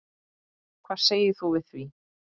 Hvað segir þú við því?